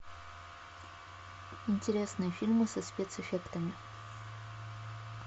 интересные фильмы со спецэффектами